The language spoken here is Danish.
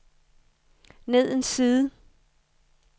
ned en side